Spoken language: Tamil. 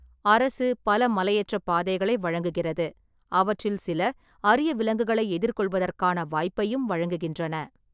அரசு பல மலையேற்றப் பாதைகளை வழங்குகிறது, அவற்றில் சில அரிய விலங்குகளை எதிர்கொள்வதற்கான வாய்ப்பையும் வழங்குகின்றன.